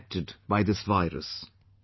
got infected by this virus